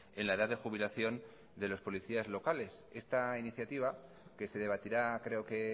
en la edad de jubilación de los policías locales esta iniciativa que se debatirá creo que